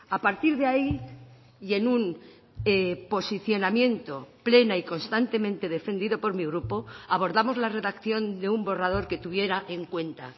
a partir de ahí y en un posicionamiento plena y constantemente defendido por mi grupo abordamos la redacción de un borrador que tuviera en cuenta